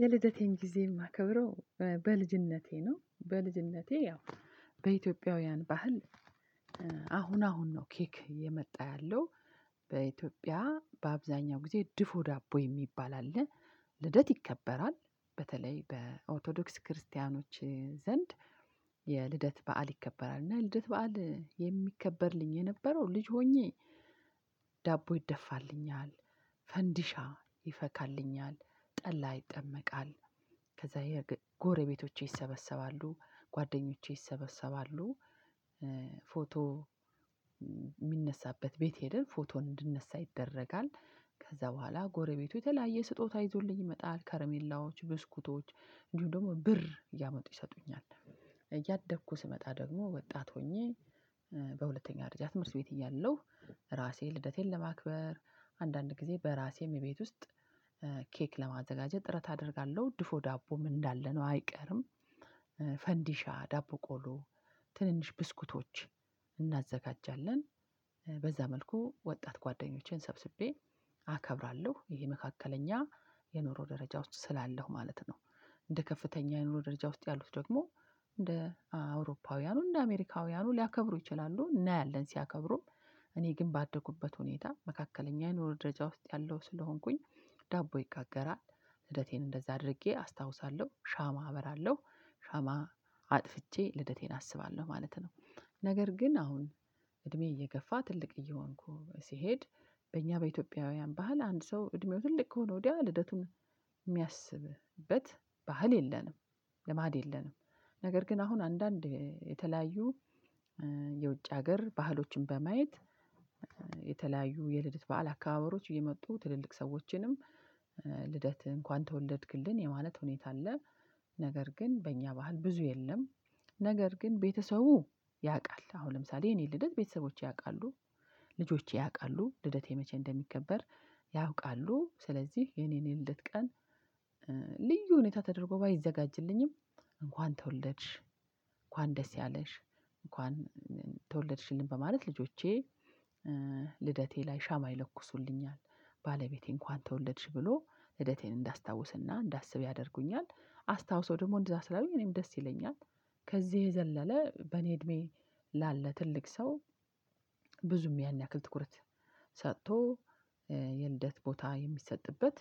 የልደቴን ጊዜ የማከብረው በልጅነቴ ነው በልጅነቴ ያው በኢትዮጵያውያን ባህል። አሁን አሁን ነው ኬክ እየመጣ ያለው። በኢትዮጵያ በአብዛኛው ጊዜ ድፎ ዳቦ የሚባል አለ። ልደት ይከበራል በተለይ በኦቶዶክስ ክርስቲያኖች ዘንድ። የልደት በዓል ይከበራል እና ልደት በዓል የሚከበርልኝ የነበረው ልጅ ሆኜ። ዳቦ ይደፋልኛል። ፈንዲሻ ይፈካልኛል ጠላ ይጠመቃል ከዛ የጎረቤቶቼ ይሰበሰባሉ ጓደኞቼ ይሰበሰባሉ። ፎቶ የሚነሳበት ቤት ሄደን ፎቶ እንድንነሳ ይደረጋል። ከዛ በኋላ ጎረቤቱ የተለያየ ስጦታ ይዞልኝ ይመጣል ከርሜላዎች ብስኩቶች እንዲሁም ደግሞ ብር እያመጡ ይሰጡኛል። እያደኩ ስመጣ ደግሞ ወጣት ሆኜ። በሁለተኛ ደረጃ ትምህርት ቤት እያለሁ። ራሴን ልደቴን ለማክበር አንዳንድ ጊዜ በራሴ እቤት ውስጥ ኬክ ለማዘጋጀት ጥረት አደርጋለሁ። ድፎ ዳቦም እንዳለ ነው አይቀርም። ፈንዲሻ ዳቦ ቆሎ ትንንሽ ብስኩቶች እናዘጋጃለን። በዛ መልኩ ወጣት ጓደኞቼን ሰብስቤ አከብራለሁ። ይሄ መካከለኛ የኑሮ ደረጃ ውስጥ ስላለሁ ማለት ነው። እንደ ከፍተኛ የኑሮ ደረጃ ውስጥ ያሉት ደግሞ። እንደ አውሮፓውያኑ እንደ አሜሪካውያኑ ሊያከብሩ ይችላሉ እናያለን ሲያከብሩም። እኔ ግን ባደኩበት ሁኔታ መካከለኛ የኑሮ ደረጃ ውስጥ ያለው ስለሆንኩኝ። ዳቦ ይጋገራል ልደቴን እንደዛ አድርጌ አስታውሳለሁ። ሻማ አበራለሁ ሻማ አጥፍቼ ልደቴን አስባለሁ ማለት ነው። ነገር ግን አሁን እድሜ እየገፋ ትልቅ እየሆንኩ ሲሄድ። በእኛ በኢትዮጵያውያን ባህል አንድ ሰው እድሜው ትልቅ ከሆነ ወዲያ ልደቱን የሚያስብበት ባህል የለንም። ልማድ የለንም። ነገር ግን አሁን አንዳንድ የተለያዩ የውጭ ሀገር ባህሎችን በማየት የተለያዩ የልደት በዓል አከባበሮች እየመጡ ትልልቅ ሰዎችንም ልደት እንኳን ተወለድክልን የማለት ሁኔታ አለ። ነገር ግን በእኛ ባህል ብዙ የለም። ነገር ግን ቤተሰቡ ያውቃል አሁን ለምሳሌ የኔን ልደት ቤተሰቦቼ ያውቃሉ። ልጆቼ ያውቃሉ ልደቴ መቼ እንደሚከበር። ያውቃሉ ስለዚህ የኔን የልደት ቀን ልዩ ሁኔታ ተደርጎ ባይዘጋጅልኝም። እንኳን ተወለድሽ እንኳን ደስ ያለሽ። እንኳን ተወለድሽልኝ በማለት ልጆቼ ልደቴ ላይ ሻማ ይለኩሱልኛል። ባለቤቴን እንኳን ተወለድሽ ብሎ ልደቴን እንዳስታውስና እንዳስብ ያደርጉኛል። አስታውሶ ደግሞ እንደዛ ስላሉኝ እኔም ደስ ይለኛል። ከዚህ የዘለለ በኔ እድሜ ላለ ትልቅ ሰው ብዙም ያን ያክል ትኩረት ሰጥቶ የልደት ቦታ የሚሰጥበት